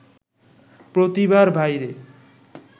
প্রতিভার বাইরে